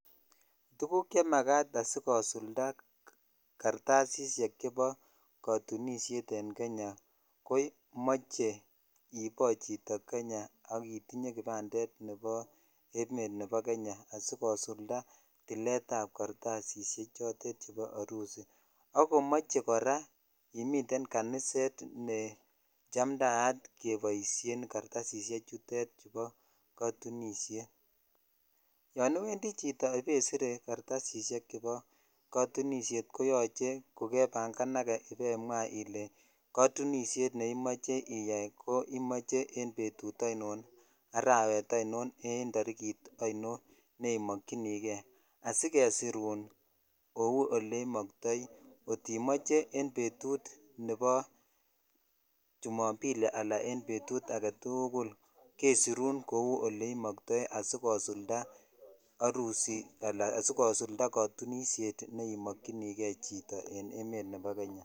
Tukuk chemakat asikosulda kartasishek chebo kotunishet en Kenya komoche ibo chito Kenya ak itinye kipandet nebo emet nebo Kenya asikosulda tiletab kartasishek chotet chebo orusi. AK komoche Koraa imiten kaniset nechamdayat keboishen Kartasishek chutet chubo kotunishet. Yon iwendii chito ipesire kartasishek chebo kotunishet koyoche ko kepangenage ibemwa Ile kotunishet neimoche iyai ko imoche en betu oinon arawet oinon en torikit oinon neimokinigee asikesirun kou oleimoktoi kotimoche en betut nebo chumombili anan ko en betut agetukul kesirun kou oleimoktoi asikosulda orusi ana sikosilda kotunishet neimokinigee chito en emt nebo Kenya.